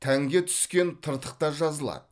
тәнге түскен тыртық та жазылады